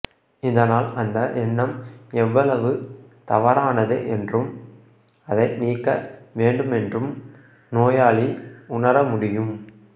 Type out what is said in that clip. இதனால் அந்த எண்ணம் எவ்வளவு தவறானது என்றும் அதை நீக்க வேண்டுமென்றும் நோயாளி உணர முடியும்